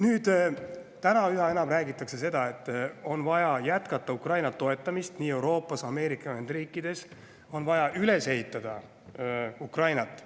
Nüüd üha enam räägitakse, et on vaja jätkata Ukraina toetamist Euroopas ja Ameerika Ühendriikides ning on vaja üles ehitada Ukrainat.